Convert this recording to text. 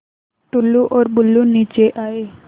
टुल्लु और बुल्लु नीचे आए